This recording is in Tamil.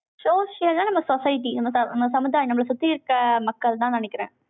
social ஆ, நம்ம society, நம்ம சமுதாயம், நம்மளை சுத்தி இருக்கிர மக்கள்தான்னு நினைக்கிறேன்.